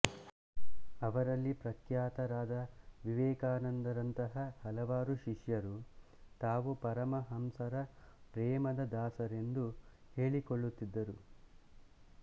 ಅವರಲ್ಲಿ ಪ್ರಖ್ಯಾತರಾದ ವಿವೇಕಾನಂದರಂತಹ ಹಲವಾರು ಶಿಷ್ಯರು ತಾವು ಪರಮಹಂಸರ ಪ್ರೇಮದ ದಾಸರೆಂದು ಹೇಳಿಕೊಳ್ಳುತ್ತಿದ್ದರು